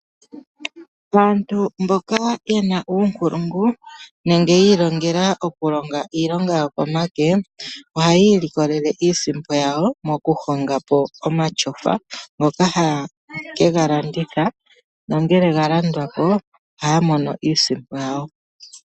Aantu mboka yena uunkulungu nenge ya ilongela okulonga iilonga yo komake, ohaya ilikolele iisimpo yawo mo ku honga po omashofa, ngoka haye ke ga landitha. Nongele ga landwa po ohaya mono iisimpo yawo.